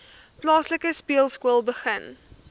plaaslike speelskool begin